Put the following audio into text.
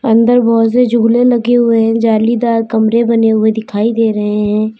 अंदर बहुत से झूले लगे हुए हैं जालीदार कमरे बने हुए दिखाई दे रहे हैं।